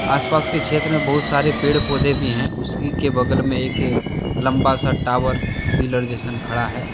आसपास के क्षेत्र में बहुत सारे पेड़ पौधे भी हैं उसी के बगल में एक लंबा सा टावर पिलर जैसन खड़ा है।